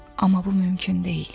Amma bu mümkün deyil.